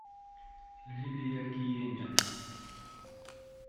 лилия киеня